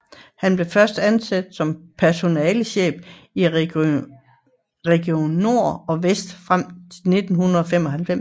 Han blev først ansat som personalechef i Region Nord og Vest frem til 1995